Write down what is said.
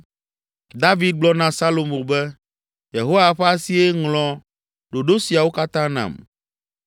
David gblɔ na Solomo be, “Yehowa ƒe asie ŋlɔ ɖoɖo siawo katã nam.